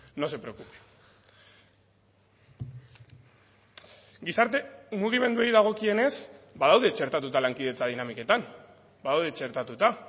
no se preocupe gizarte mugimenduei dagokienez badaude txertatuta lankidetza dinamiketan badaude txertatuta